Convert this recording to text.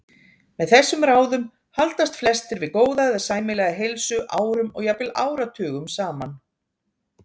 Með þessum ráðum haldast flestir við góða eða sæmilega heilsu árum og jafnvel áratugum saman.